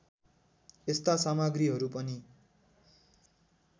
यस्ता सामग्रीहरू पनि